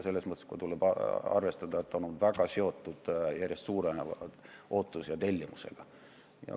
Selles mõttes tuleb arvestada, et ta on väga seotud järjest suureneva ootuse ja tellimusega.